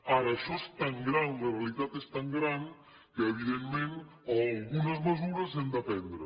ara això és tan gran la realitat és tan gran que evidentment algunes mesures hem de prendre